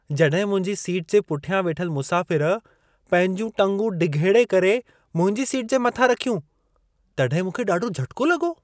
जॾहिं मुंहिंजी सीट जे पुठियां वेठल मुसाफ़िर पंहिंजूं टंगूं डिघेड़े करे मुंहिंजी सीट जे मथां रखियूं, तॾहिं मूंखे ॾाढो झटिको लॻो।